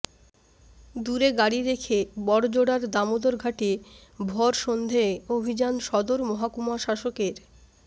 দূরে গাড়ি রেখে বড়জোড়ার দামোদর ঘাটে ভরসন্ধেয় অভিযান সদর মহকুমা শাসকের